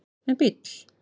en bíll